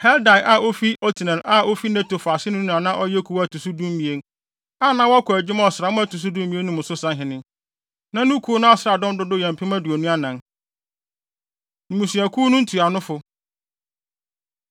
Heldai a ɔyɛ Otniel a ofi Netofa aseni no na na ɔyɛ kuw a ɛto so dumien, a na wɔkɔ adwuma ɔsram a ɛto so dumien mu no so sahene. Na ne kuw no asraafodɔm dodow yɛ mpem aduonu anan (24,000). Mmusuakuw No Ntuanofo